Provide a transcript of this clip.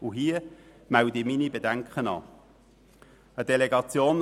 Diesbezüglich melde ich meine Bedenken an.